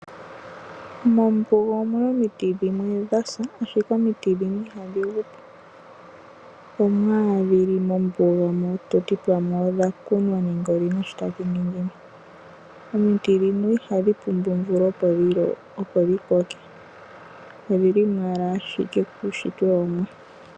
Mombuga omiti dhimwe dha sa ashike omiti ndhino ihadhi gu po. Omo owala dhili mombuga mo toti pamwe odha kunwa nenge dhina sho tadhi ningi mo. Omiti ndhino ihadhi pumbwa omvula opo dhi koke odhili mo owala kuunshitwe wOmuwa.